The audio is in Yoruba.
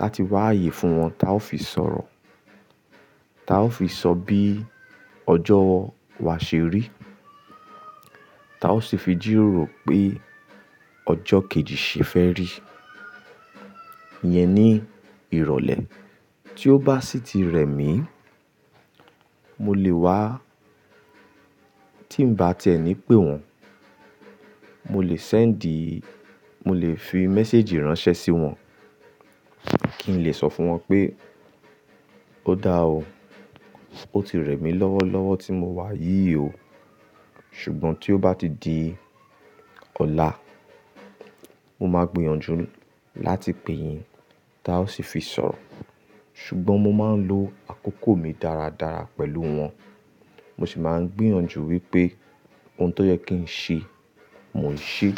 láti wá ye fún wọn, tá ó fi sọ̀rọ̀. Tá ó fi sọ bí ọjọ́ wa ṣe rí. Taa ó sì fi jìròrò pé ọjọ́ kejì ṣe fẹ́ rí. Yẹn ni ìrọ̀lẹ́. Tí ó bá ṣì ti rẹ mí, mo lè wá tí ń bá tẹ́ ẹ ní pe wọ́n. Mo lè send, mo lè fi message ránṣẹ́ sí wọn kí n lè sọ fún wọn pé ó da o. Ó ti rẹ mí lọ́wọ́lọ́wọ́ tí mo wá yìí o. Ṣùgbọ́n tí ó bá ti di ọlá, mo máa gbìyànjú láti pè yín tá ó ṣì fi sọ̀rọ̀. Ṣùgbọ́n mo máa ń lo àkókò mi dáradára pẹ̀lú wọn. Mo ṣì máa ń gbìyànjú wípé ohun tó yẹ kí n ṣe, mò ń ṣe.